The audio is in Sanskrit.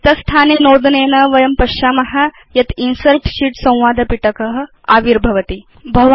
रिक्तस्थाने नोदनेन वयं पश्याम यत् इन्सर्ट् शीत् संवाद पिटक आविर्भवति